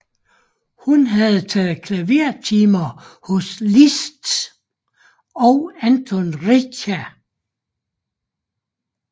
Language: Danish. Hun havde taget klavertimer hos Liszt og Anton Reicha